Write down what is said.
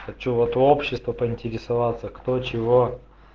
хочу вот у общества поинтересоваться кто чего